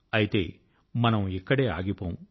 అయితే మనం ఇక్కడే ఆగిపోము